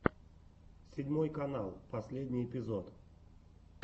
седьмой канал последний эпизод